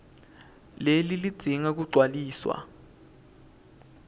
leli lidzinga kugcwaliswa